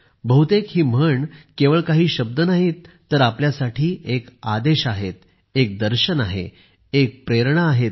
बहुतेक ही म्हण केवळ काही शब्द नाहीत तर आपल्यासाठी एक आदेश आहे एक दर्शन आहे एक प्रेरणा आहे